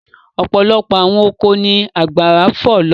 Ọ̀pọ̀lọpọ̀ àwọn oko ni ọ̀gbàrà fọ̀ lọ.